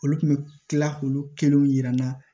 Olu kun bɛ tila k'olu kelenw yira n na